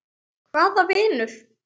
Hvaða vinur?